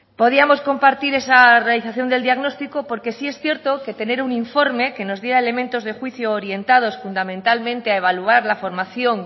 podíamos compartir esa realización del diagnóstico porque sí es cierto que tener un informe que nos diera elementos de juicio orientados fundamentalmente a evaluar la formación